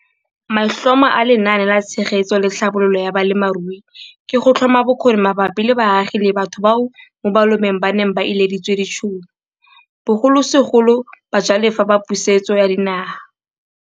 Maitlhomo a Lenaane la Tshegetso le Tlhabololo ya Balemirui ke go tlhoma bokgoni mabapi le baagi le batho bao mo malobeng ba neng ba ileditswe ditšhono, bogolosegolo bajalefa ba Pusetso ya Dinaga.